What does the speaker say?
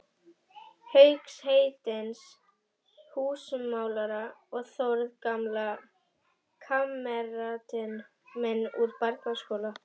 Hauks heitins húsamálara og Þórð, gamla kammeratinn minn úr barnaskóla.